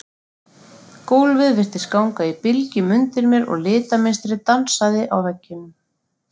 Gólfið virtist ganga í bylgjum undir mér og litamynstrið dansaði á veggjunum.